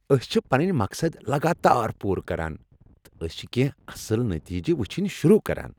أسۍ چھ پنٕنۍ مقصد لگاتار پورٕ کران، تہٕ أسۍ چھ کیٚنٛہہ اصل نٔتیٖجہٕ وچھنٕۍ شروٗع کران۔